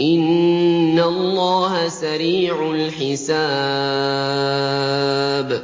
إِنَّ اللَّهَ سَرِيعُ الْحِسَابِ